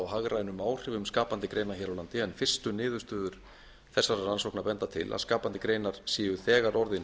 hagrænum áhrifum skapandi greina hér á landi en fyrstu niðurstöður þessarar rannsóknar benda til að skapandi greinar séu þegar orðin